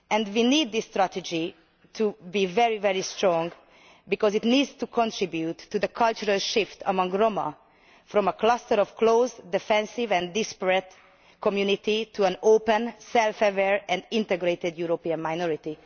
We need this strategy to be very strong, because it needs to contribute to the cultural shift among the Roma from a cluster of closed, defensive and disparate communities to an open, self aware and integrated European minority.